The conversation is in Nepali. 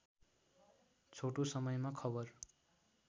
छोटो समयमा खबर